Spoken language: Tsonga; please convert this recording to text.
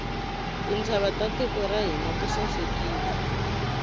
tintshava ta tiko ra hina ti sasekile